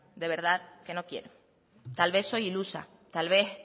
de verdad que no quiero tal vez soy ilusa tal vez